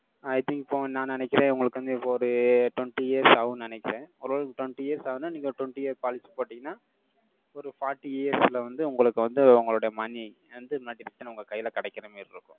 I think இப்போ, நான் நினைக்கிறேன். உங்களுக்கு வந்து, இப்போ ஒரு twenty years ஆகும்ன்னு நினைக்கிறேன். ஓரளவுக்கு, twenty years ஆகுதுன்னா, நீங்க ஒரு twenty year policy போட்டீங்கன்னா, ஒரு forty years ல வந்து, உங்களுக்கு வந்து, உங்களுடைய money எந்த modification உங்க கையில கிடைக்கிற மாதிரி இருக்கும்.